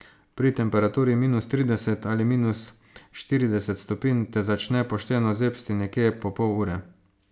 Pri temperaturi minus trideset ali minus štirideset stopinj te začne pošteno zebsti nekje po pol ure.